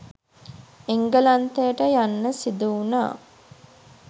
එංගලන්තයට යන්න සිදුවුණා.